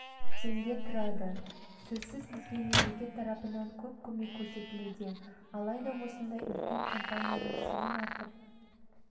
теңге тұрады сөзсіз бізге мемлекет тарапынан көп көмек көрсетілуде алайда осындай үлкен компанияның сенім артып